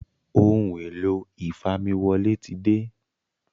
Ohun èlò ìfamiwọlé tí dé